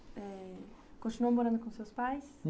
É... continuou morando com seus pais?